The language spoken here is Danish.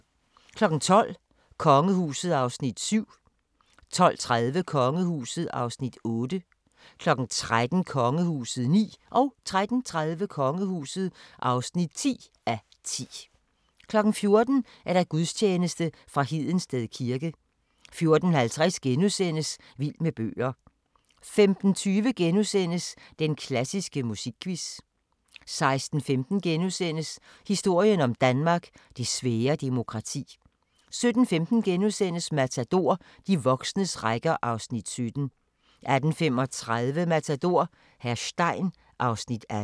12:00: Kongehuset (7:10) 12:30: Kongehuset (8:10) 13:00: Kongehuset (9:10) 13:30: Kongehuset (10:10) 14:00: Gudstjeneste fra Hedensted kirke 14:50: Vild med bøger * 15:20: Den klassiske musikquiz * 16:15: Historien om Danmark: Det svære demokrati * 17:15: Matador - de voksnes rækker (Afs. 17)* 18:35: Matador - hr. Stein (Afs. 18)